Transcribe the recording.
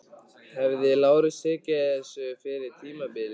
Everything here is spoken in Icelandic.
Hefði Lárus tekið þessu fyrir tímabilið?